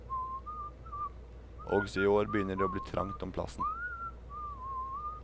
Også i år begynner det å bli trangt om plassen.